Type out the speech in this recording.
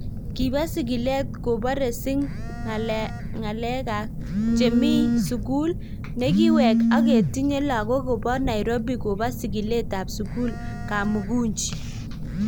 Kibo sigilet kobore si ng�alekak chemi mi sugul ne kiwek ak ketinye lagok kobo Nairobi kobo sigiletab sugulab Kamukunji.